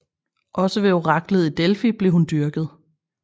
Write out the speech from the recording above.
Også ved oraklet i Delfi blev hun dyrket